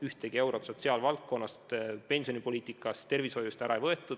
Ühtegi eurot sotsiaalvaldkonnast, pensionide maksmiselt, tervishoiust ära ei võetud.